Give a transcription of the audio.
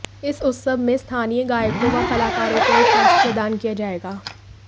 इस उत्सव में स्थानीय गायकों व कलाकारों को एक मंच प्रदान किया जाएगा